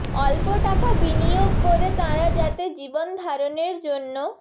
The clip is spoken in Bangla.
অল্প টাকা বিনিয়োগ করে তাঁরা যাতে জীবন ধারণের জন্য